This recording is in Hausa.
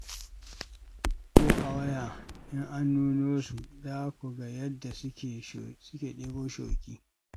Ko a waya in an nuno su, za ku ga yadda suke ɗebo shoki.